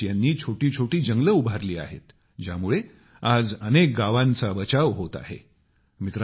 अमरेश यांनी छोटी छोटी जंगल उभारली आहेत ज्यामुळे आज अनेक गावांचा बचाव होत आहे